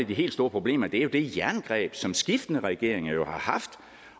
de helt store problemer er det jerngreb som skiftende regeringer har haft